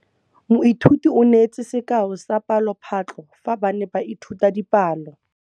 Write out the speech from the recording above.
Moithuti o neetse sekaô sa palophatlo fa ba ne ba ithuta dipalo.